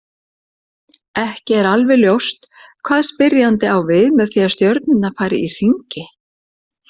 Ekki er alveg ljóst hvað spyrjandi á við með því að stjörnurnar fari í hringi.